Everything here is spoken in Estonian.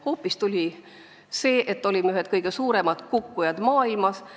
Tuli hoopis see, et olime ühed kõige suuremad kukkujad maailmas.